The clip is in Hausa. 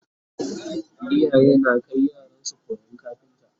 iyaye na Kai yaransu koyan kafinta